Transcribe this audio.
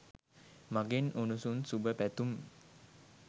මගෙන් උණුසුම් සුබ පැතුම්